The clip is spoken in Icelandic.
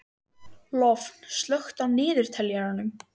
Lofn, slökktu á niðurteljaranum.